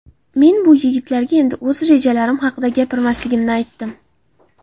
Men bu yigitlarga endi o‘z rejalarim haqida gapirmasligimni aytdim.